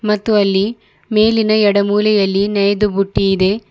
ಮತ್ತು ಅಲ್ಲಿ ಮೇಲಿನ ಎಡ ಮೂಲೆಯಲ್ಲಿ ನೆಯ್ದ ಬುಟ್ಟಿ ಇದೆ.